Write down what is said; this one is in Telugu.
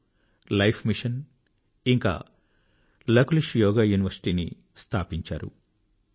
వారు life mission and Lakulish Yoga university ని స్థాపించారు